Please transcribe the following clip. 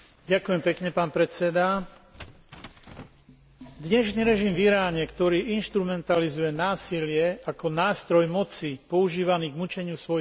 Dnešný režim v Iráne, ktorý inštrumentalizuje násilie ako nástroj moci používaný na mučenie svojich odporcov, treba odsúdiť a sankcionovať.